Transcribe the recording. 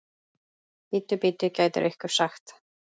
Bíddu, bíddu, gæti einhver sagt.